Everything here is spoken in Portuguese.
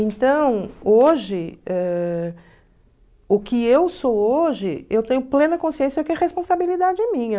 Então, hoje, ãh o que eu sou hoje, eu tenho plena consciência que é responsabilidade minha.